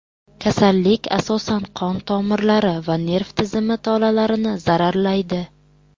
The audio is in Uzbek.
Kasallik asosan qon tomirlari va nerv tizimi tolalarini zararlaydi.